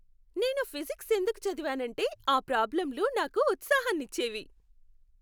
నేను ఫిజిక్స్ ఎందుకు చదివానంటే ఆ ప్రాబ్లంలు నాకు ఉత్సాహాన్నిచ్చేవి.